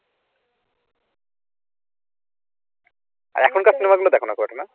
এখনকার cinema গুলো দেখোনা খুব একটা না?